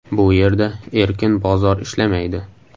Bu yerda erkin bozor ishlamaydi.